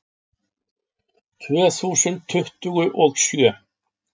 Tvö þúsund tuttugu og sjö